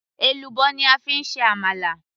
èlùbọ́ ni a fi ń ṣe àmàlà